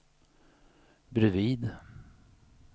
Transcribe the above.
bredvid